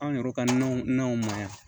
Anw yɛrɛ ka nanw nanw ma yan